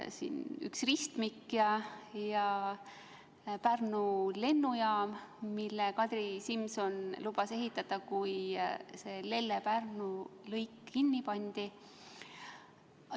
Üks ristmik, ja Pärnu lennujaam, mille Kadri Simson lubas ehitada, kui Lelle–Pärnu lõik kinni pandi.